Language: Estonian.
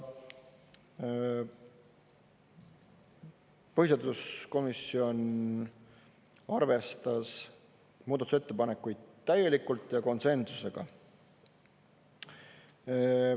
Põhiseaduskomisjon arvestas muudatusettepanekuid täielikult ja konsensusega.